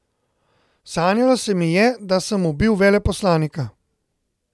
Sanjalo se mi je, da sem ubil veleposlanika.